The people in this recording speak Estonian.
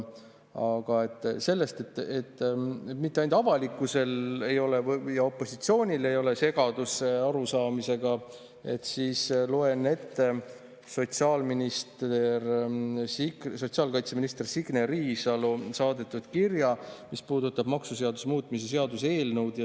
Aga selle näitamiseks, et mitte ainult avalikkusel ja opositsioonil ei ole segadus arusaamisega, loen ette sotsiaalkaitseminister Signe Riisalo saadetud kirja, mis puudutab maksuseaduse muutmise seaduse eelnõu.